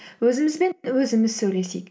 өзімізбен өзіміз сөйлесейік